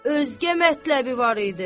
Özgə mətləbi var idi.